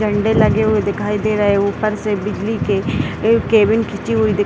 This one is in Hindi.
झंडे लगे हुए दिखाई दे रहें हैं ऊपर से बिजली के केबल खींची हुई दिख --